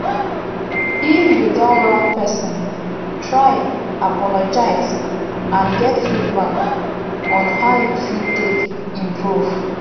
if you don wrong person try apologize and get feedback on how you fit take improve